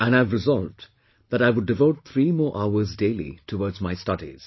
And I have resolved that I would devote three more hours daily towards my studies